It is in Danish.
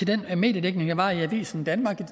den mediedækning der var i avisen danmark